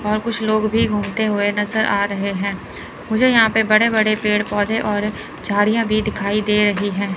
और कुछ लोग भी घूमते हुए नजर आ रहे हैं मुझे यहां पे बड़े बड़े पेड़ पौधे और झाड़ियां भी दिखाई दे रही हैं।